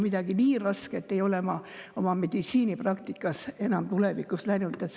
Midagi nii rasket ei ole ma oma meditsiinipraktikas näinud.